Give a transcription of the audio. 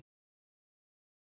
bætir hún við.